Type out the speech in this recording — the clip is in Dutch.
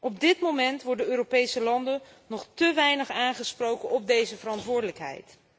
Op dit moment worden Europese landen nog te weinig aangesproken op deze verantwoordelijkheid.